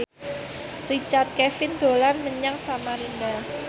Richard Kevin dolan menyang Samarinda